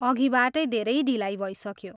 अघिबाटै धेरै ढिलाइ भइसक्यो।